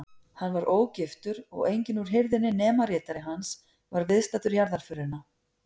Hann var ógiftur og enginn úr hirðinni nema ritari hans var viðstaddur jarðarförina.